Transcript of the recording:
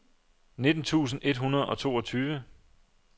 nitten tusind et hundrede og toogtyve